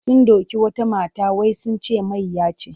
Sun doki wata mata wai sun ce mayya ce.